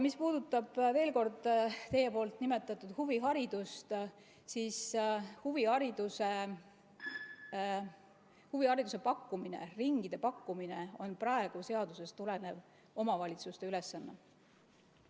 Mis puudutab, veel kord, teie nimetatud huviharidust, siis huvihariduse pakkumine, ringide pakkumine on praegu seadusest tulenevalt omavalitsuste ülesanne.